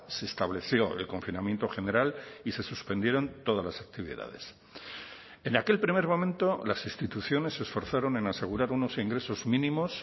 se estableció el confinamiento general y se suspendieron todas las actividades en aquel primer momento las instituciones se esforzaron en asegurar unos ingresos mínimos